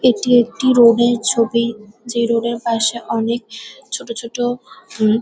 এটি একটি রোড -এর ছবি। যে রোড -এর পাশে অনেক ছোট ছোট হুম --